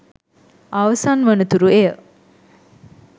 අවසන් වන තූරු එය